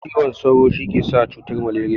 Cizon sauru shikesa cutan maleriya